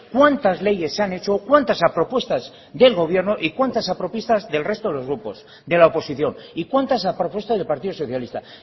cuántas leyes se han hecho cuántas a propuesta del gobierno y cuántas a propuesta del resto de grupos de la oposición y cuántas a propuesta del partido socialista